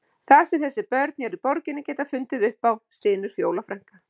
Það sem þessi börn hér í borginni geta fundið upp á, stynur Fjóla frænka.